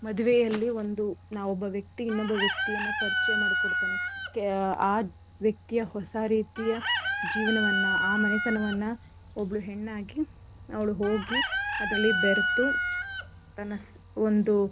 ಮದ್ವೆಯಲ್ಲಿ ಒಂದು ನಾ ಒಬ್ಬ ವ್ಯಕ್ತಿ ಇನ್ನೊಬ್ಬ ವ್ಯಕ್ತಿಯನ್ನ ಪರಿಚಯ ಮಾಡ್ಕೊಡ್ತಾನೆ. ಆ ವ್ಯಕ್ತಿಯ ಹೊಸ ರೀತಿಯ ಜೀವನವನ್ನ ಆ ಮನೆತನವನ್ನ ಒಬ್ಳು ಹೆಣ್ಣಾಗಿ ಅವ್ಳ್ ಹೋಗಿ ಅದ್ರಲ್ಲಿ ಬೆರ್ತು ತನ್ನ ಒಂದು.